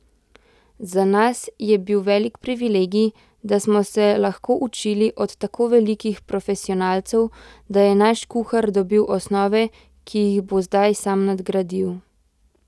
Za nas je bil velik privilegij, da smo se lahko učili od tako velikih profesionalcev, da je naš kuhar dobil osnove, ki jih bo zdaj sam nadgradil.